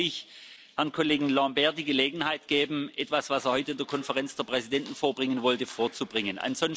hat. Deshalb will ich Herrn Kollegen Lamberts die Gelegenheit geben, etwas, das er heute in der Konferenz der Präsidenten vorbringen wollte, vorzubringen.